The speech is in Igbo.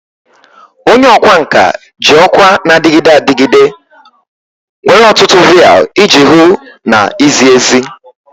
Onye ọkwá nkà ji ọkwa na-adịgide adịgide nwere ọtụtụ vial iji hụ na izi ezi.